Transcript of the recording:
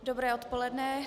Dobré odpoledne.